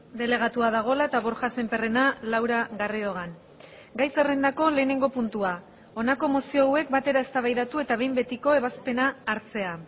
delegatua dagoela eta borja sémperrena laura garridogan gai zerrendako lehenengo puntua honako mozio hauek batera eztabaidatu eta behin betiko ebazpena hartzea